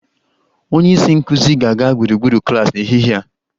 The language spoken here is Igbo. Onye isi nkụzi ga-aga gburugburu klas n'ehihie a